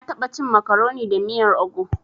Na taɓa cin makaroni da miyan ogu.